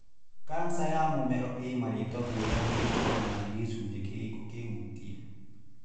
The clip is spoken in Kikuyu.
Cancer ya mũmero ĩ marĩtwa ngũrani kũringana na nĩ gĩcunje kĩrĩkũ kĩhutie.